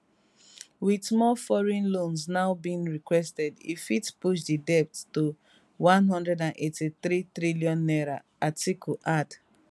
wit more foreign loans now being requested e fit push di debt to one and eighty-three trillion naira atiku add